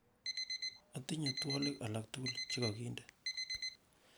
otinye twolik alaktuguk chegoginde